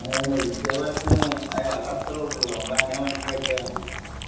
ഹാ അതാ പറഞ്ഞത് വിദ്യാഭ്യാസം അത് അത്രേയൊള്ളൂ നമ്മൾ അങ്ങനെ മനസ്സിലാക്കിയ മതി